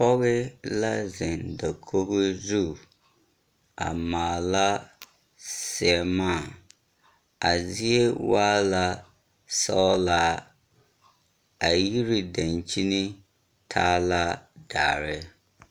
Pɔge la zeŋ dakogo zu a maala seemaa a zie waa la sɔgelaa. A yiri daŋkyin taa la dare.